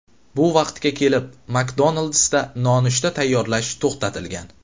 Bu vaqtga kelib McDonald’sda nonushta tayyorlash to‘xtatilgan.